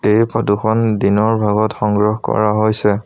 এই ফটো খন দিনৰ ভাগত সংগ্ৰহ কৰা হৈছে।